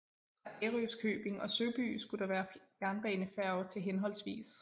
Fra Ærøskøbing og Søby skulle der være jernbanefærge til hhv